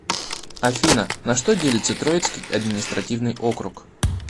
афина на что делится троицкий административный округ